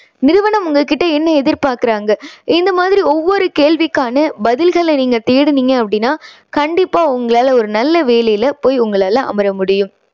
நிறுவனம் உங்க கிட்ட என்ன எதிர்பார்க்குறாங்க? இந்த மாதிரி ஒவ்வொரு கேள்விக்கான பதில்களை நீங்க தேடுனீங்க அப்படின்னா கண்டிப்பா உங்களால ஒரு நல்ல வேலையில போய் உங்களால அமர முடியும்.